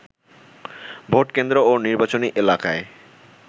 vote কেন্দ্র ও নির্বাচনী এলাকায়